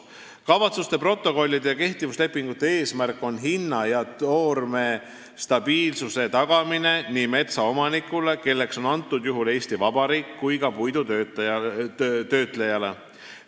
" Kavatsuste protokollide ja kehtivuslepingute eesmärk on hinna- ja toormestabiilsuse tagamine nii metsaomanikule, kelleks on praegusel juhul Eesti Vabariik, kui ka puidutöötlejale.